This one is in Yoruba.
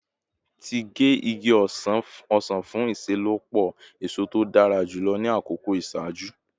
Ti ge igi osan fun iṣelọpọ eso to dara julọ ni akoko iṣaaju